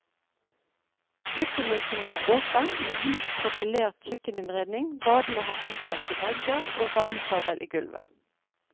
Kjøkkenløsningen er åpen med hvit profilert kjøkkeninnredning, badene har flislagte vegger og varmekabel i gulvet.